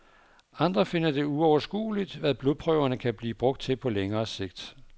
Andre finder det uoverskueligt, hvad blodprøverne kan blive brugt til på længere sigt.